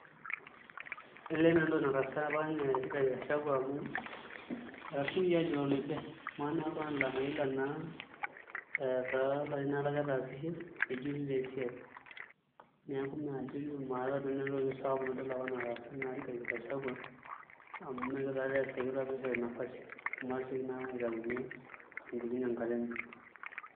Elee meeta entoki nataasa apa ninye Rigathi Gachagua amu etasiokoki aajut oloibe kamaa naa oltung'ani lamayiolo ajo enaa ilarin aare ake etaasishe nejuti taa esiai, neeku majo duo maaata nanu entoki sapuk nadol apa nataasa Rigathi Gachagua amu mee ekitu taatoi ees ekitu ishori nafasi amu etasiokoki naa aitayu ninye eton itu iiting' enkata enye.